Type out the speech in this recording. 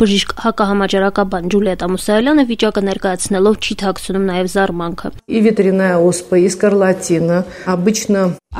Բժիշկ հակահամաճարակաբան Ջուլիետտա Մուսայելյանը վիճակը ներկայացնելով չի թաքցնում նաեւ զարմանքը.